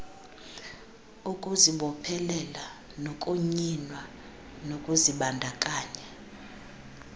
ukuzibophelela nokunyinwa kokuzibandakanya